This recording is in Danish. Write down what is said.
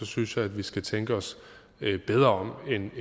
synes jeg at vi skal tænke os bedre om end